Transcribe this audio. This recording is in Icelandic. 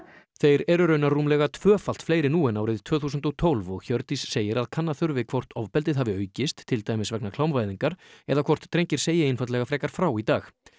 þeir eru raunar rúmlega tvöfalt fleiri nú en árið tvö þúsund og tólf og Hjördís segir að kanna þurfi hvort ofbeldið hafi aukist til dæmis vegna klámvæðingar eða hvort drengir segi einfaldlega frekar frá í dag